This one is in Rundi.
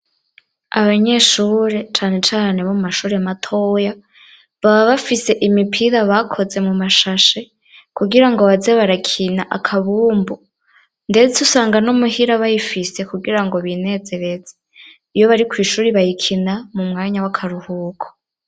Abanyeshure canecane abo mashure matoya ,baba bafise imipira bakoze mu mashash, kugira ngo baze barakina akabumbu, ndetse usanga no muhira bayifise kugira ngo binezerese. Iyo bari kw'ishuri bayikina mu mwanya w'akaruhuko.